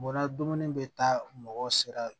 Bɔra dumuni bɛ taa mɔgɔ sera